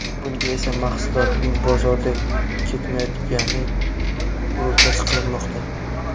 Bunga esa mahsulotning bozorda ketmayotgani ro‘kach qilinmoqda.